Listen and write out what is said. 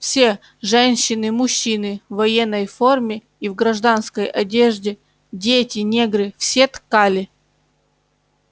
все женщины мужчины в военной форме и в гражданской одежде дети негры все ткали